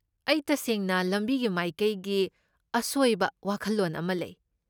ꯑꯩ ꯇꯁꯦꯡꯅ ꯂꯝꯕꯤꯒꯤ ꯃꯥꯏꯀꯩꯒꯤ ꯑꯁꯣꯏꯕ ꯋꯥꯈꯜꯂꯣꯟ ꯑꯃ ꯂꯩ꯫